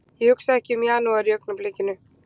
Ég hugsa ekki um janúar í augnablikinu.